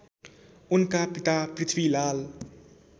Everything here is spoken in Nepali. उनका पिता पृथ्वीलाल